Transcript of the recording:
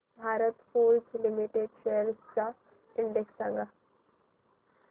Bharat Forge Limited shares चा index सांगा